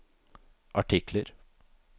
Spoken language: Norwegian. artikler